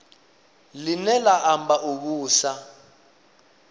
line la amba u vhusa